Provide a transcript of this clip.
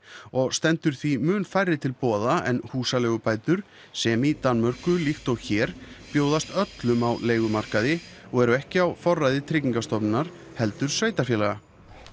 og stendur því mun færri til boða en húsaleigubætur sem í Danmörku líkt og hér bjóðast öllum á leigumarkaði og eru ekki á forræði tryggingarstofnunar heldur sveitarfélaga